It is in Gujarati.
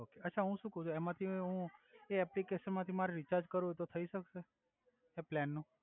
ઓકે અછા હુ સુ કવ છુ એમાથી હુ એ એપલિકેશન માથી મારે રિચાર્જ કરવુ હોય તો થઈ સક્સે એ પ્લેન નુ